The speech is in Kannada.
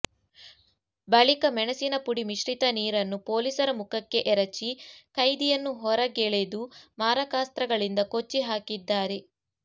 ಬಳಿಕ ಮೆಣಸಿನ ಪುಡಿ ಮಿಶ್ರಿತ ನೀರನ್ನು ಪೊಲೀಸರ ಮುಖಕ್ಕೆ ಎರಚಿ ಕೈದಿಯನ್ನು ಹೊರಗೆಳೆದು ಮಾರಕಾಸ್ತ್ರಗಳಿಂದ ಕೊಚ್ಚಿ ಹಾಕಿದ್ದಾರೆ